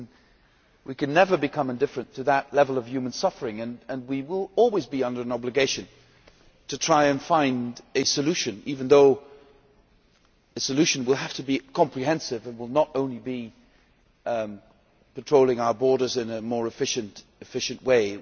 We can never become indifferent to that level of human suffering and we will always be under an obligation to try to find a solution even though a solution will have to be comprehensive and will not only be controlling our borders in a more efficient way.